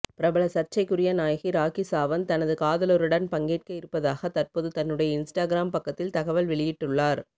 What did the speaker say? பிரபல சர்ச்சைக்குரிய நாயகி ராக்கி சாவந்த் தனது காதலருடன் பங்கேற்க இருப்பதாக தற்போது தன்னுடைய இன்ஸ்டாகிராம் பக்கத்தில் தகவல் வெளியிட்டுள்ளார்